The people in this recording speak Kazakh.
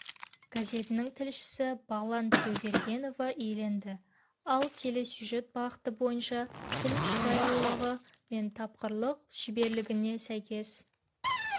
газетінің тілшісі бағлан тілеубергенова иеленді ал телесюжет бағыты бойынша тіл шұрайлылығы мен тапқырлық шеберлігіне сәйкес